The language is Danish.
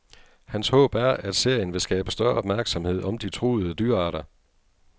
Hans håb er, at serien vil skabe større opmærksomhed om de truede dyrearter.